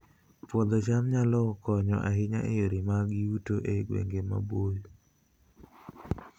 Puodho cham nyalo konyo ahinya e yore mag yuto e gwenge maboyo